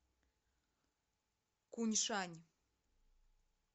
куньшань